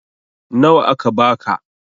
Nawa aka ba ka?